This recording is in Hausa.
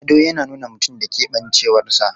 Ado yana nuna mutum da keɓancewarsa.